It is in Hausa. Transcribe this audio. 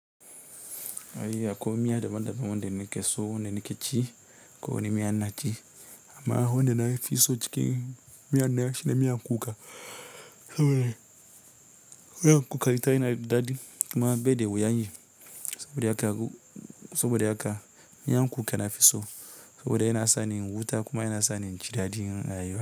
Ai akwai miya daban daban wanda nake so nake ci kowane miya ina ci amma wanda nafi so acikin miyan nan shine miyan kuka saboda miyan kuka ita yanada daɗi kuma baida wuyan yi saboda haka saboda haka miyan kuka na fiso, sa boda yana sani in huta kuma yana sani inji daɗin rayuwa.